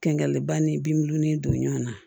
Kɛŋɛli ba ni bin don ɲɔgɔn na